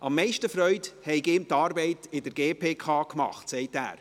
Am meisten Freude habe ihm die Arbeit in der GPK gemacht, sagt er.